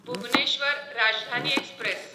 Bhubaneswar Rajdhani express